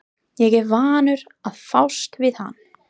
Ég er vanur að fást við hann!